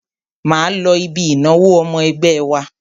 Máa lọ ibi ìnáwó ọmọ ẹgbẹ́ wa.